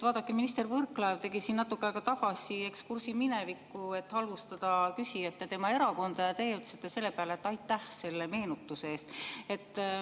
Vaadake, minister Võrklaev tegi siin natuke aega tagasi ekskursi minevikku, et halvustada küsijat ja tema erakonda, ja teie ütlesite selle peale, et aitäh selle meenutuse eest.